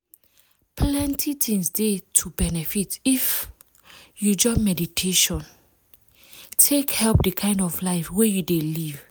plenty things dey to benefit if um you join meditation to wait - take help the kind of life wey you dey live